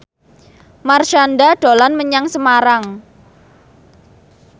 Marshanda dolan menyang Semarang